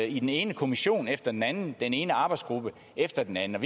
i den ene kommission efter den anden og den ene arbejdsgruppe efter den anden